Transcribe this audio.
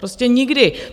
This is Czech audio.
Prostě nikdy.